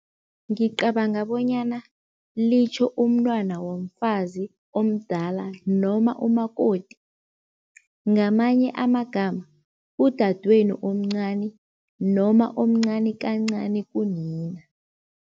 Ngicabanga bonyana litjho umntwana womfazi omdala noma umakoti. Ngamanye amagama udadwenu omncani noma omncani kancani kunina.